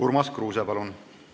Urmas Kruuse, palun!